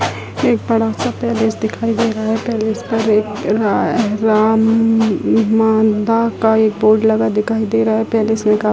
एक बड़ा-सा पैलेस दिखाई दे रहा है पैलेस पर एक अ राम ममम मांदा का बोर्ड लगा दिखाई दे रहा है। पैलेस में का --